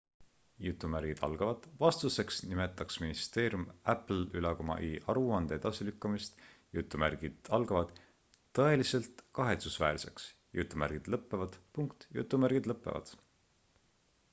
"vastuseks nimetas ministeerium apple'i aruande edasilükkamist "tõeliselt kahetsusväärseks"".